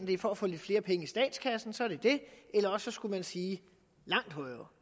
det er for at få lidt flere penge i statskassen så er det det eller også skulle man sige langt højere